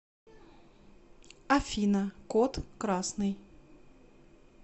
афина код красный